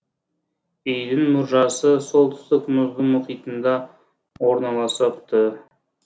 үйдің мұржасы солтүстік мұзды мұхитында орналасыпты